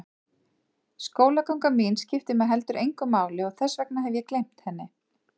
Skólaganga mín skiptir mig heldur engu máli og þess vegna hef ég gleymt henni.